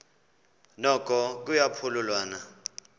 noko kuya phululwana